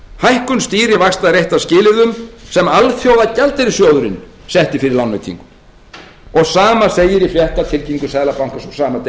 hækkun stýrivaxta er eitt af skilyrðum sem alþjóðagjaldeyrissjóðurinn setti fyrir lánveitingum og sama segir í fréttatilkynningu seðlabankans frá